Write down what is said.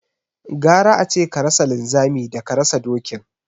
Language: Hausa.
Gara ace ka rasa linzami daka rasa dokin